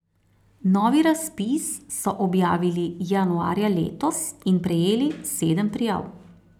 Novi razpis so objavili januarja letos in prejeli sedem prijav.